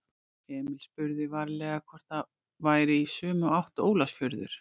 Emil spurði varlega hvort það væri í sömu átt og Ólafsfjörður.